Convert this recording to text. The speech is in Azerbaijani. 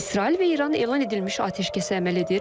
İsrail və İran elan edilmiş atəşkəsə əməl edir.